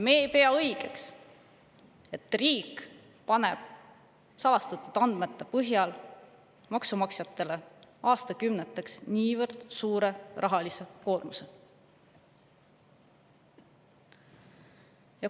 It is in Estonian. Me ei pea õigeks, et riik paneb salastatud andmete põhjal maksumaksjatele aastakümneteks niivõrd suure rahalise koormuse.